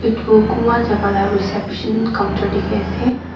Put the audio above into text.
Etu kunba jaka la reception counter dekhey ase.